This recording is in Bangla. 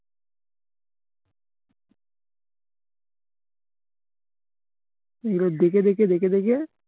দেখে দেখে দেখে দেখে